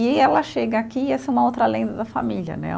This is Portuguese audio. E ela chega aqui, e essa é uma outra lenda da família, né?